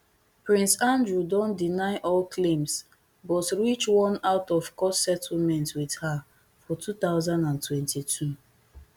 prince andrew don deny all claims but reach one outofcourt settlement with her for two thousand and twenty-two